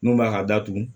Mun b'a ka datugu